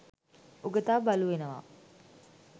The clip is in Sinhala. උගතා බලු වෙනවා.